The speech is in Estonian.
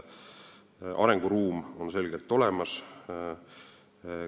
Arenguruum on selgelt olemas.